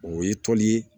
O ye tɔn ye